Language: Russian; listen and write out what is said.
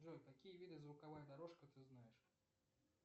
джой какие виды звуковая дорожка ты знаешь